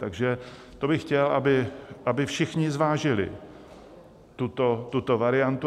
Takže to bych chtěl, aby všichni zvážili, tuto variantu.